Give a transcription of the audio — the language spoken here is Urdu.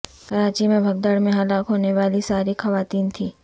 کراچی میں بھگدڑ میں ہلاک ہونے والی ساری خواتین تھیں